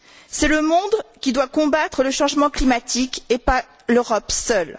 C'est le monde qui doit combattre le changement climatique et pas l'Europe seule.